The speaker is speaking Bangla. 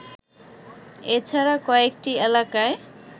এছাড়া কয়েকটি এলাকায়